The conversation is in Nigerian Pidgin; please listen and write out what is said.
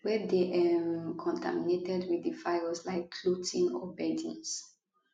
wey dey um contaminated wit di virus like clothing or beddings